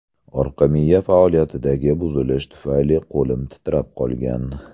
Orqa miya faoliyatidagi buzilish tufayli qo‘lim titrab qolgan.